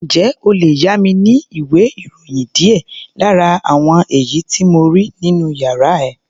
Ǹjẹ́ o lè yá mi ní ìwé-ìròyìn díẹ̀ lára àwọn èyí tí mo rí nínú yàrá ẹ?